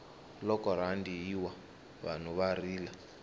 loko rhandi yi wa vanhu va rila